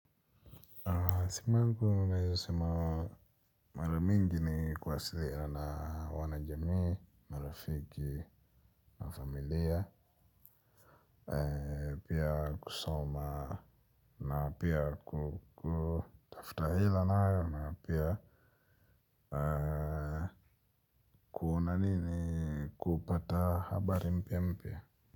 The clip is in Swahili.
Simungu naweza sema maramingi ni kuwasilina na wana jamii, marafiki na familia. Pia kusoma na pia kutafta hela nayo na pia. Kuna nini kupata habari mpia mpia.